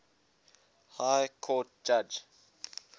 high court judge